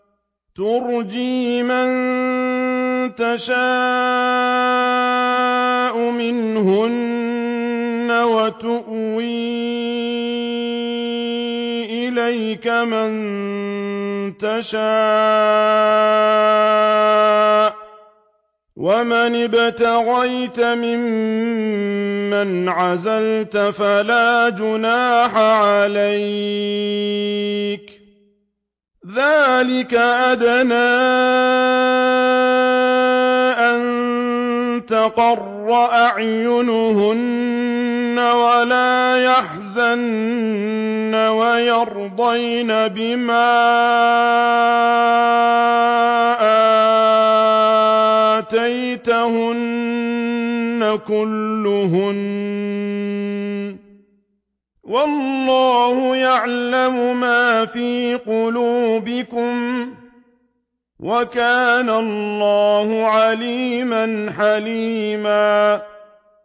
۞ تُرْجِي مَن تَشَاءُ مِنْهُنَّ وَتُؤْوِي إِلَيْكَ مَن تَشَاءُ ۖ وَمَنِ ابْتَغَيْتَ مِمَّنْ عَزَلْتَ فَلَا جُنَاحَ عَلَيْكَ ۚ ذَٰلِكَ أَدْنَىٰ أَن تَقَرَّ أَعْيُنُهُنَّ وَلَا يَحْزَنَّ وَيَرْضَيْنَ بِمَا آتَيْتَهُنَّ كُلُّهُنَّ ۚ وَاللَّهُ يَعْلَمُ مَا فِي قُلُوبِكُمْ ۚ وَكَانَ اللَّهُ عَلِيمًا حَلِيمًا